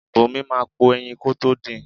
Bùnmi máà ń po ẹyin kótó din.